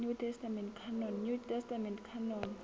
new testament canon